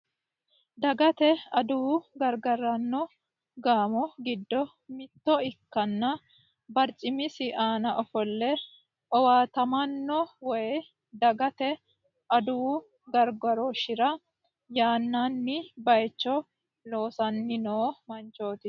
Dagate adawu gargaraano gaamo giddo mitto ikkanna barcimisi aana ofolle owaatamaano woy dagate adawu gargarooshshira yannann baaycho e loosanni noo manchooti.